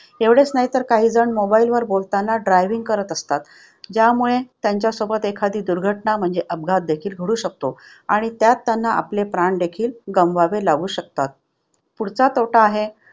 एवढेच नाही तर काहीजण mobile वर बोलताना driving करत असतात. त्यामुळे त्यांच्यासोबत एखादी दुर्घटना म्हणजे अपघात देखील घडू शकतो. आणि त्यात त्यांना आपले प्राण देखील गमवावे लागू शकतात. पुढचा तोटा आहे,